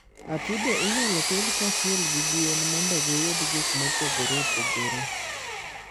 Atudo inyalo pidh kanyachiel gi gwen mondo giyud gik mopogore opogore.